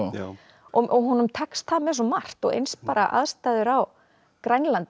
og honum tekst það með svo margt og eins bara aðstæður á Grænlandi